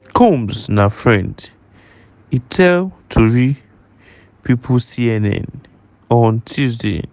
(combs) na friend" e tell tori pipo cnn on tuesday.